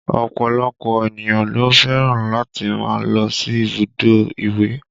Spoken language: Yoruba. Ọ̀pọ̀lọpọ̀ ènìyàn ló fẹ́ràn láti máa lọ sí ibùdó ìwẹ̀